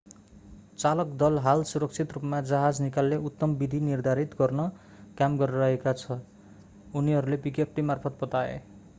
चालक दल हाल सुरक्षित रूपमा जहाज निकाल्ने उत्तम विधि निर्धारित गर्न काम गरिरहेको छ उनीहरूले विज्ञप्तिमार्फत बताए